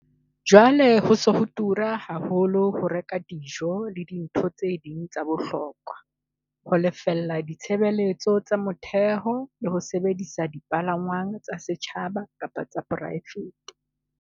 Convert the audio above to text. Jwale ho se ho tura haholo ho reka dijo le dintho tse ding tsa bohokwa, ho lefella ditshebeletso tsa motheo le ho sebedisa dipalangwang tsa setjhaba kapa tsa poraefete.